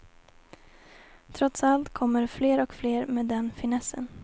Trots allt kommer fler och fler med den finessen.